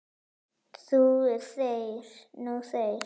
Nú þeir.